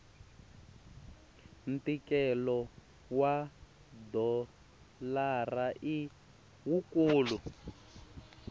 ntikelo wa dolara i wukulu